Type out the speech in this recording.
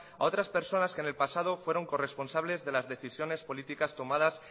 a otras personas que en el pasado fueron corresponsables de las decisiones políticas tomadas